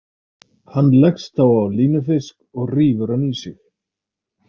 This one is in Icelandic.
Hann leggst þá á línufisk og rífur hann í sig.